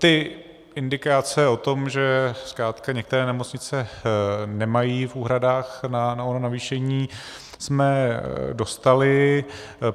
Ty indikace o tom, že zkrátka některé nemocnice nemají v úhradách na ono navýšení, jsme dostali.